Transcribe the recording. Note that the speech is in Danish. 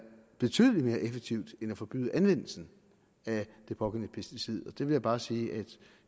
betydelig mere effektivt end at forbyde anvendelsen af det pågældende pesticid og vil jeg bare sige at